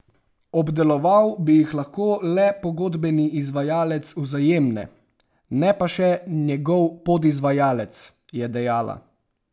Obdeloval bi jih lahko le pogodbeni izvajalec Vzajemne, ne pa še njegov podizvajalec, je dejala.